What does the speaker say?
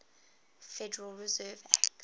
federal reserve act